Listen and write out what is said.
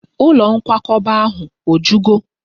Ụlọ nkwakọba ahụ o jugo?